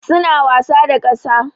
Suna wasa da ƙasa.